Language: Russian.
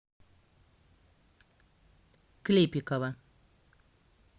клепикова